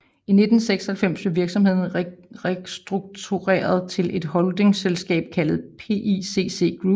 I 1996 blev virksomheden restruktureret til et holdingsselskab kaldet PICC Group